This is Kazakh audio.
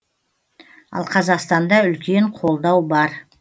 ал қазақстанда үлкен қолдау бар